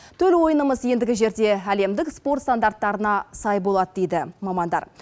төл ойынымыз ендігі жерде әлемдік спорт стандарттарына сай болады дейді мамандар